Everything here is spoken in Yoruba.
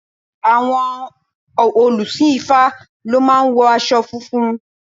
Àwọn òlùsìn ifá lọ máa ń wo aṣọ funfun.